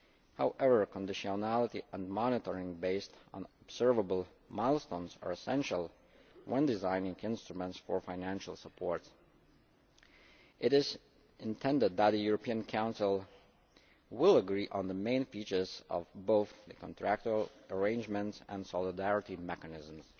However, conditionality and monitoring based on observable milestones are essential when designing instruments for financial support. It is intended that the European Council will agree on the main features of both the contractual arrangements and solidarity mechanisms.